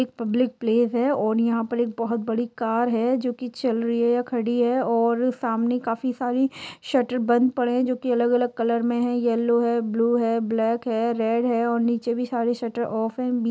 एक public place है और यहां पर एक बहुत बड़ी कार है जो कि चल रही है या खड़ी है और सामने काफी सारे शटर बंद पड़े है जो की अलग-अलग कलर मे है येल्लो है ब्लू है ब्लैक है रेड है और नीचे भी सारे शटर ऑफ है।